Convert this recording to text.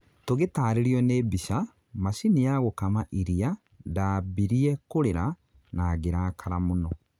tugĩtarĩrio nĩ mbica, macini ya gũkama iria ndambirie kurĩra, na ngĩrakara mũno